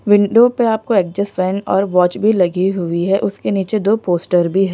window पे आपको exhaust fan और वॉच भी लगी हुई है उसके नीचे दो पोस्टर भी--